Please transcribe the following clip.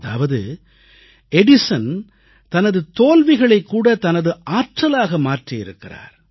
அதாவது எடிசன் தனது தோல்விகளைக்கூட தனது ஆற்றலாக மாற்றியிருக்கிறார்